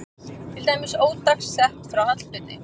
Til dæmis ódagsett frá Hallbirni